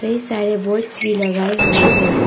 ये सारे बोर्ड्स भी लगाए हुए है।